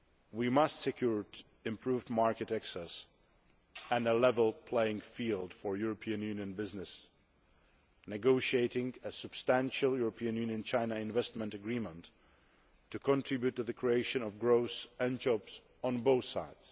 We need to secure improved market access and a level playing field for European Union business, negotiating a substantial EU China Investment Agreement to contribute to the creation of growth and jobs on both sides.